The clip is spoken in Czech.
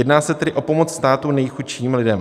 Jedná se tedy o pomoc státu nejchudším lidem.